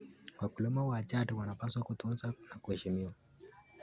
Wakulima wa jadi wanapaswa kutunzwa na kuheshimiwa.